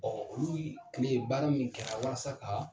olu yii tile baara min kɛra walasa k'aa